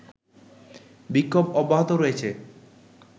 বিক্ষোভ অব্যাহত রয়েছে